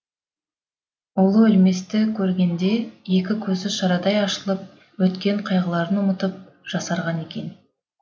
ұлы өлместі көргенде екі көзі шырадай ашылып өткен қайғыларын ұмытып жасарған екен